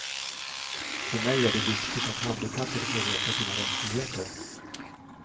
För mig är det viktigt att handikappade får veta sina rättigheter.